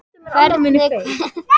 Hvernig, hver voru viðbrögð hans?